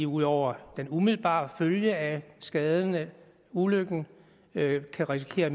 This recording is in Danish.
ud over den umiddelbare følge af skaderne af ulykken kan risikere at